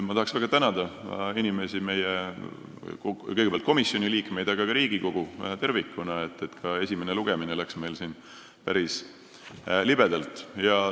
Ma tahan väga tänada inimesi, kõigepealt komisjoni liikmeid, aga ka Riigikogu tervikuna, et esimene lugemine läks meil päris libedalt.